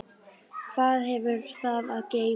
Hvað hefur það að geyma?